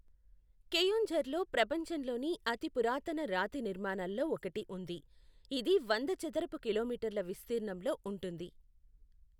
కెయోంఝర్లో ప్రపంచంలోని అతిపురాతన రాతి నిర్మాణాలలో ఒకటి ఉంది, ఇది వంద చదరపు కిలోమీటర్ల విస్తీర్ణంలో ఉంటుంది.